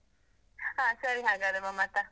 ಹಾ ಸರಿ ಹಾಗಾದ್ರೆ, ಮಮತಾ.